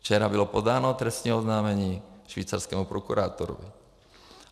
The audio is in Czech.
Včera bylo podáno trestní oznámení švýcarskému prokurátorovi.